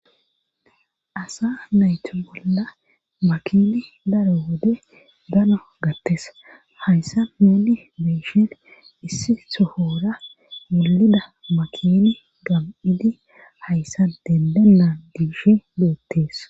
asa nayti bolla makini daro wode dano gattes hayssa nouni be'ishin issi sohora mulida makini gam'idi hayssa dendelan dibshi no7ottes